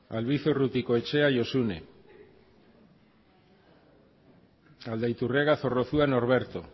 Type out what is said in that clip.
albizua urrutikoetxea josune aldaiturriaga zorrozua norberto